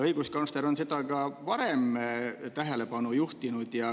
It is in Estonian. Õiguskantsler on sellele ka varem tähelepanu juhtinud.